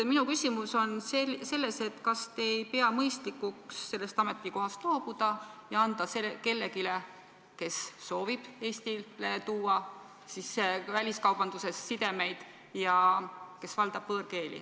Minu küsimus on, et kas te ei pea mõistlikuks sellest ametikohast loobuda ja anda see kellelegi, kes soovib Eesti jaoks luua väliskaubandussidemeid ja kes valdab võõrkeeli.